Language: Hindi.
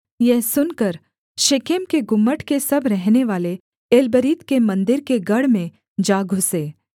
यह सुनकर शेकेम के गुम्मट के सब रहनेवाले एलबरीत के मन्दिर के गढ़ में जा घुसे